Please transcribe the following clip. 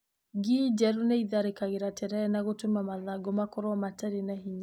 Ngi njerũ nĩ itharĩkagĩra terere na gũtũma mathangũ makorwo matarĩ na hinya.